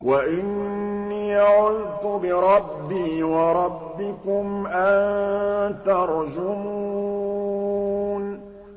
وَإِنِّي عُذْتُ بِرَبِّي وَرَبِّكُمْ أَن تَرْجُمُونِ